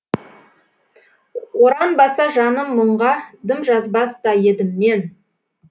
оранбаса жаным мұңғадым жазбас та едім мен